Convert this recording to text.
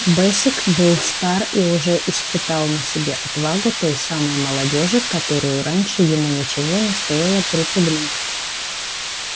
бэсик был стар и уже испытал на себе отвагу той самой молодёжи которую раньше ему ничего не стоило припугнуть